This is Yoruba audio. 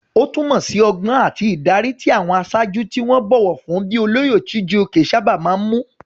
Ó túmọ̀ sí ọgbọ́n àti ìdarí, tí àwọn aṣáájú tí wọ́n bọ̀wọ̀ fún bíi olóyè Chijioke sábà máa ń mú.